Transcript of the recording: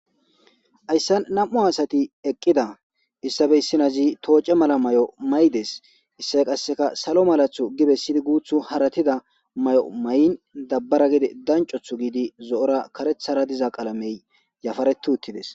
Hayssan am'u asati eqqi issitape issi nozi tocce mala mayo mayida issiyo qassika salo mera giddizi qassika hara guutiyo dummarida mayo mayin danicotura zo'o qalame diza qaalameti utides.